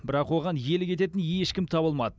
бірақ оған иелік ететін ешкім табылмады